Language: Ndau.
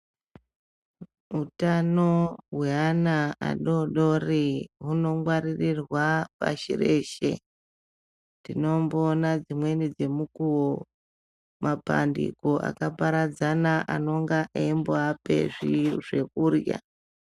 Hutano hweana adodori hunongwaririrwa pashi reshe. Tinombona dzimweni dzemukuwo mapandiko akaparadzana anonga eimboape zvekurya.